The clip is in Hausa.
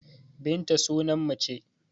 Binta sunan mace